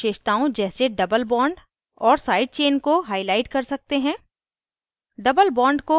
हम अणु में विशेषताओं जैसे doublebond और sidechain को highlight कर सकते हैं